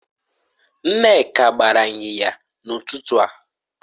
Nneka gbara inyinya n'ututu a